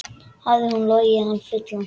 Hafði hún logið hann fullan?